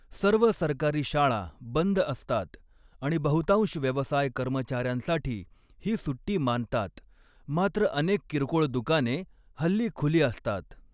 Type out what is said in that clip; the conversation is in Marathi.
सर्व सरकारी शाळा बंद असतात आणि बहुतांश व्यवसाय कर्मचाऱ्यांसाठी ही सुट्टी मानतात, मात्र अनेक किरकोळ दुकाने हल्ली खुली असतात.